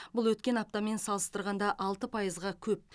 бұл өткен аптамен салыстырғанда алты пайызға көп